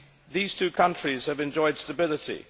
These two countries have enjoyed stability.